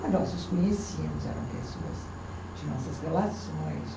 Mas nós os conhecíamos, eram pessoas de nossas relações.